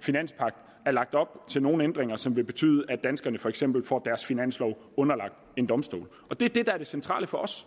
finanspagt er lagt op til nogen ændringer som vil betyde at danskerne for eksempel får deres finanslov underlagt en domstol og det er det der er det centrale for os